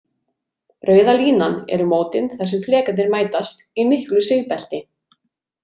Rauða línan eru mótin þar sem flekarnir mætast, í miklu sigbelti.